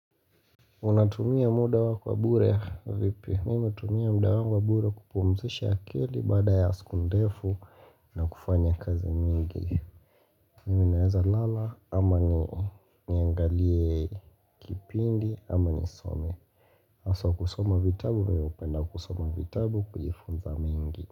Unatumia muda wako wa bure vipi mimi natumia muda wangu wa bure kupumzisha akili baada ya siku ndefu na kufanya kazi mingi Mimi naeza lala ama ni niangalie kipindi ama ni some Haswa kusoma vitabu mimi napenda kusoma vitabu kujifunza mingi.